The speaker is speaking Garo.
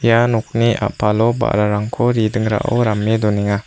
ia nokni a·palo ba·rarangko redingrao rame donenga.